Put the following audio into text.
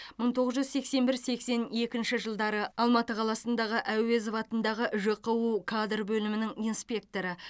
мың тоғыз жүз сексен бір сексен екінші жылдары алматы қаласындағы әуезов атындағы жқу кадр бөлімінің инспекторы